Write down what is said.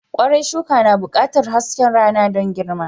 Kwarai, shuka na buƙatar haske rana don girma.